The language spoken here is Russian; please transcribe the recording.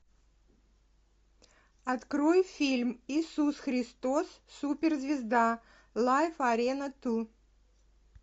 открой фильм иисус христос супер звезда лайф арена ту